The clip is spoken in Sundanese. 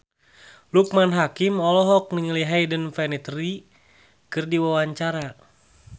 Loekman Hakim olohok ningali Hayden Panettiere keur diwawancara